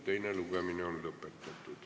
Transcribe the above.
Teine lugemine on lõpetatud.